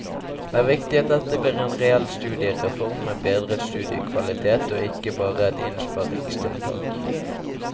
Det er viktig at dette blir en reell studiereform med bedret studiekvalitet og ikke bare et innsparingstiltak.